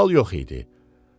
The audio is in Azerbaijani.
Qaval yox idi.